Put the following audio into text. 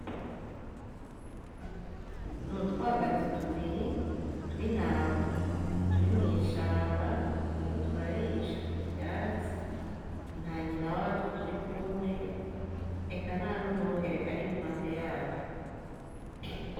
N'utwagazi tubiri tw'intama turi mw'ishamba turiko turarisha ivyatsi nta nyina watwo turi kumwe eka ntanumwungere ari iruhande yatwo